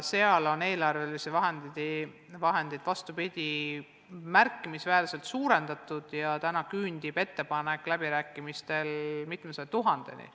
Seal on vastupidi, eelarvelisi vahendeid on märkimisväärselt suurendatud ja rahastus küündib läbirääkimistel tehtud ettepaneku kohaselt mitmesaja tuhandeni.